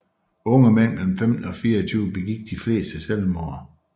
Unge mænd mellem 15 og 24 begik de fleste selvmord